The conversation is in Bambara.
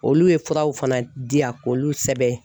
Olu ye furaw fana di yan k'olu sɛbɛn